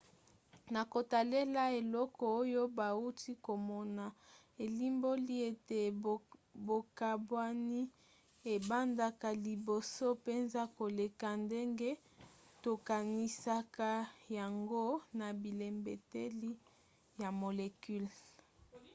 na kotalela eloko oyo bauti komona elimboli ete bokabwani ebandaka liboso mpenza koleka ndenge tokanisaka yango na bilembeteli ya molecule.